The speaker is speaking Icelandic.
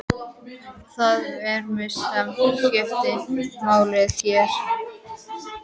Það er framreiðslan sem skiptir máli hér.